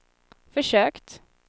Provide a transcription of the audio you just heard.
försökt